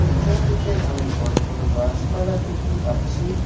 পিছনদিকে অনেক বড় বড় গাছপালা দেখতে পাচ্ছি।